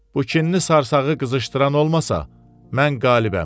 Bu kinli sarsağı qızışdıran olmasa, mən qalibəm.